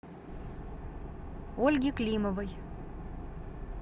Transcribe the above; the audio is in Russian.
ольги климовой